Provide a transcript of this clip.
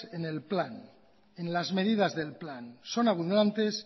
en el plan en las medidas del plan son abundantes